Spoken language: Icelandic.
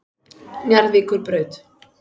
Njarðvíkurbraut